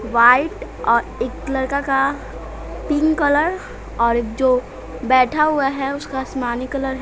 White और एक लड़का का पिंक कलर और जो बैठा हुआ है उसका आसमानी कलर है।